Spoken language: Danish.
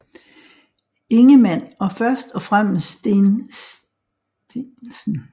Ingemann og først og fremmest Steen St